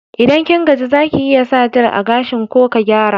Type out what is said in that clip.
Idan kin gaji, za ki iya sa jel a gashin ko ka gyara.